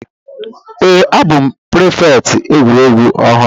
Èè, a bụ prịfèkt egwuregwu ọhụrụ.